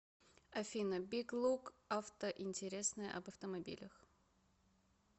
афина биг лук авто интересное об автомобилях